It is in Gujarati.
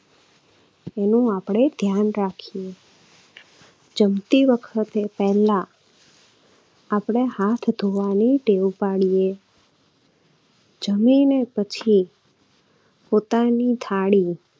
એનું આપણે ધ્યાન રાખીએ. જમતી વખતે પહેલા આપણે હાથ ધોવાની ટેવ પાડીએ. જમીને પછી પોતાની થાળી